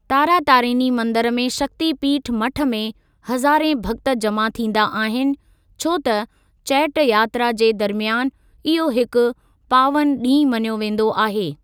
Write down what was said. तारातारिनी मंदिरु में शक्ति पीठ मठ में हज़ारे भक्‍त जमा थींदा आहिनि छो त चैट यात्रा जे दरमियान इहो हिकु पावन ॾींहुं मञियो वेंदो आहे।